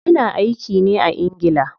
Ya na aiki ne a ingila.